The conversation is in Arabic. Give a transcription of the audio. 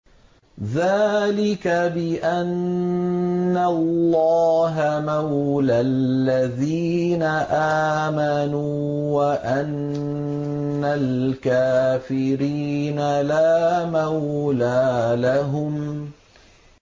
ذَٰلِكَ بِأَنَّ اللَّهَ مَوْلَى الَّذِينَ آمَنُوا وَأَنَّ الْكَافِرِينَ لَا مَوْلَىٰ لَهُمْ